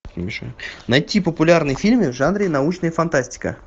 найти популярные фильмы в жанре научная фантастика